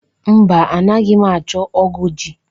Mba, anaghị m achọ ógụ̀ ji.